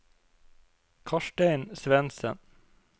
Karstein Svendsen